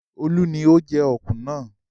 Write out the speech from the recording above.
Olu ni ó ń jẹ ọ̀kùn náà.